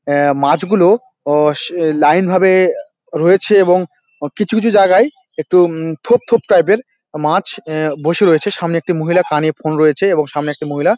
অ্যা মাছগুলো অস লাইন ভাবে রয়েছে এবং কিছু কিছু জায়গায় একটু উম থোপ থোপ টাইপ -এর মাছ অ্যা বসে রয়েছে | সামনে একটি মহিলা কানে ফোন রয়েছে এবং সামনে একটি মহিলা--